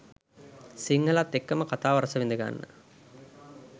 සිංහලත් එක්කම කතාව රසවිඳගන්න